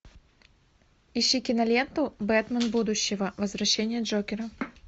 ищи киноленту бэтмен будущего возвращение джокера